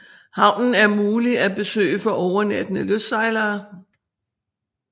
Havnen er mulig at besøge for overnattende lystsejlere